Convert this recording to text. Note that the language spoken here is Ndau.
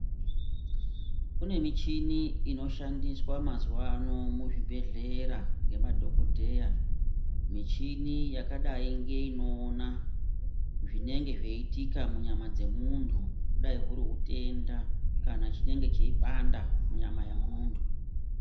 Kune michini inoshandiswa mazuvano muzvibhedhlera ngemadhogodheya. Michini yakadai ngeinoona zvinenge zveiitika munyama dzemuntu kudai huri hutenda kana chinenge cheipanda munyama yemuntu.